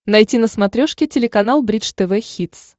найти на смотрешке телеканал бридж тв хитс